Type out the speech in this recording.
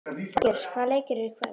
Hergils, hvaða leikir eru í kvöld?